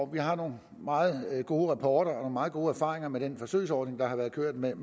vi har nogle meget gode rapporter og nogle meget gode erfaringer med den forsøgsordning der har været kørt med